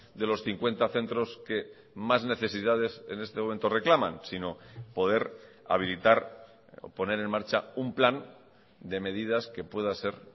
de los cincuenta centros que más necesidades en este momento reclaman sino poder habilitar poner en marcha un plan de medidas que pueda ser